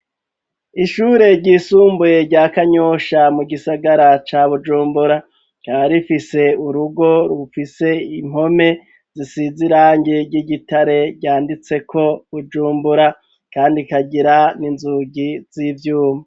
Ishure ryisumbuye, rya kanyosha ,mu gisagara ca bujumbura, rya rifise urugo rufise impome zisiz irange ry'igitare ,ryanditse ko bujumbura kandi kagira n'inzugi z'ivyuma.